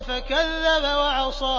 فَكَذَّبَ وَعَصَىٰ